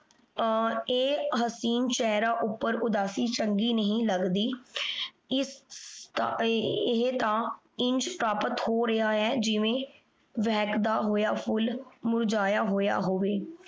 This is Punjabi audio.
ਆਯ ਹਸੀਨ ਚੇਹਰੇ ਉਪਰ ਉਦਾਸੀ ਚੰਗੀ ਨਹੀਂ ਲਗਦੀ। ਇਹ ਤਾਂ ਇੰਜ ਹੋ ਰਯ ਆਯ ਜਿਵੇਂ ਬੇਹ੍ਕਦਾ ਹੋਯਾ ਫੁਲ ਮੁਰਝਾਯਾ ਹੋਯਾ ਹੋਵੇ